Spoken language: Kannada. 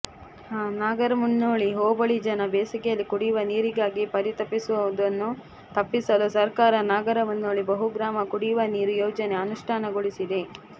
ನಾಗರಮುನ್ನೋಳಿ ಹೋಬಳಿ ಜನ ಬೇಸಿಗೆಯಲ್ಲಿ ಕುಡಿಯುವ ನೀರಿಗಾಗಿ ಪರಿತಪಿಸುವದನ್ನು ತಪ್ಪಿಸಲು ಸರಕಾರ ನಾಗರಮುನ್ನೋಳಿ ಬಹುಗ್ರಾಮ ಕುಡಿಯುವ ನೀರು ಯೋಜನೆ ಅನುಷ್ಠಾನಗೊಳಿಸಿದೆ